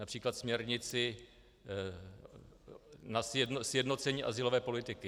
Například směrnici na sjednocení azylové politiky.